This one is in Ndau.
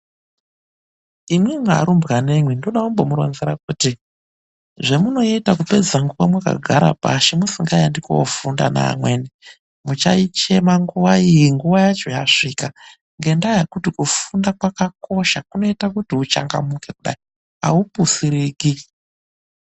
Imwimwi arumbwanemwi, ndoda kumbomuronzera kuti zvemunoita kupedza nguwa mwakagara pashi musingaendi koofunda naamweni, muchaichema nguwa iyi nguwa yacho yasvika. Ngendaa yekuti kufunda kwakakosha. Kunoita kuti uchangamuke kudai, aupusiriki.